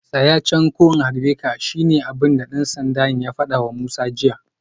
Tsaya can ko in harbe ka shine abinda dan sandan ya fadawa Musa jiya